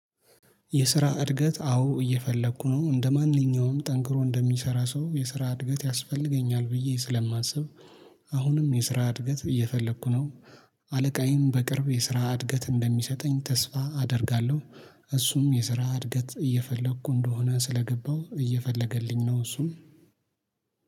የስራ እድገት አዎ እየፈለኩ ነው እንደማንኛውም ጠንክሮ እንደሚሰራ ሰው የስራ እድገት ያስፈልገኛል ብዬ ስለማስብ። አሁንም የስራ እድገት እየፈለኩ ነው። አለቃዬን በቅርብ የስራ እድገት እንደሚሰጠኝ ተስፋ አደርጋለሁ። እሱም የስራ እድገት እየፈለኩ እንደሆነ ስለገባሁ እየፈለገልኝ ነው እሱም